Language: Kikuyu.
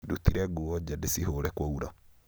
ndutire nguo nja ndĩcihũũre kwaura